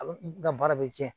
A bɛ n ka baara bɛ tiɲɛ